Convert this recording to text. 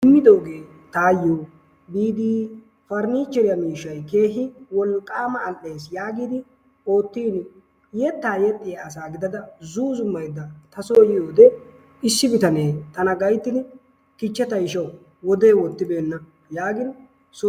Immidoogee tayoo biidi paranicheriyaa miishshay keehi wolqqaama al"ees yaagidi oottin yettaa yexxiyaa asa giddada zuuzummaydda ta soo yiyoode issi bitanee tana gayttidi kichcha tayshawu wodee wottibenna yaagin soo